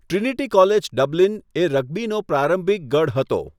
Trinity College Dublin એ રગ્બીનો પ્રારંભિક ગઢ હતો.